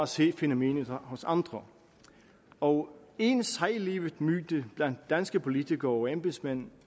se fænomenet hos andre og en sejlivet myte blandt danske politikere og embedsmænd